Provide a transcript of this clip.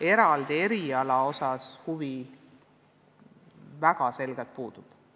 Eraldi eriala vastu huvi väga selgelt puudub.